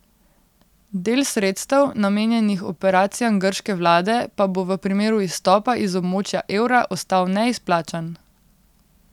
Del sredstev, namenjenih operacijam grške vlade, pa bo v primeru izstopa iz območja evra ostal neizplačan.